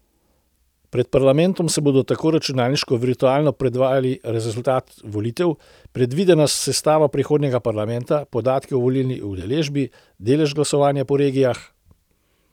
Pred parlamentom se bodo tako računalniško virtualno predvajali rezultati volitev, predvidena sestava prihodnjega parlamenta, podatki o volilni udeležbi, delež glasovanja po regijah ...